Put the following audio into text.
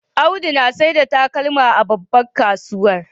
Audu saida takalma a babban kasuwa